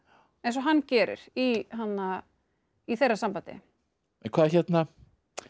eins og hann gerir í í þeirra sambandi